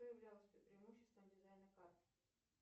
что являлось преимуществом дизайна карт